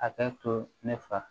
A ka to ne fa